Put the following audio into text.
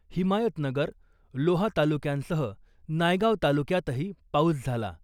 हिमायतनगर , लोहा तालुक्यांसह नायगाव तालुक्यातही पाऊस झाला .